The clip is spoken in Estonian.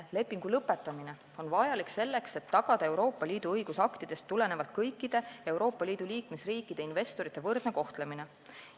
Lepingu lõpetamine on vajalik selleks, et tagada Euroopa Liidu õigusaktidest tulenevalt kõikide Euroopa Liidu liikmesriikide investorite võrdne kohtlemine.